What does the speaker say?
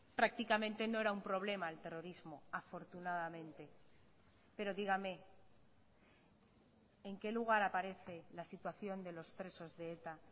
prácticamente no era un problema el terrorismo afortunadamente pero dígame en qué lugar aparece la situación de los presos de eta